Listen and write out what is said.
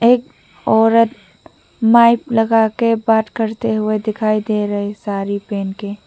एक औरत माइक लगाके बात करते हुए दिखाई दे रही साड़ी पहन के।